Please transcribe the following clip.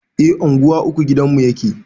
A unguwa uku gidanmu yake